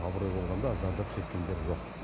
абырой болғанда зардап шеккендер жоқ